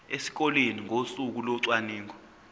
esikoleni ngosuku locwaningo